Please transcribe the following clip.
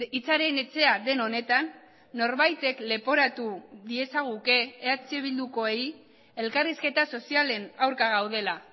hitzaren etxea den honetan norbaitek leporatu diezaguke eh bildukoei elkarrizketa sozialen aurka gaudela